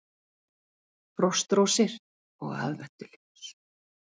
Frostrósir og aðventuljós